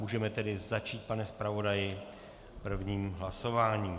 Můžeme tedy začít, pane zpravodaji, prvním hlasováním.